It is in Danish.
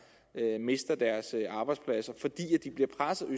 mister deres arbejdspladser fordi de bliver presset af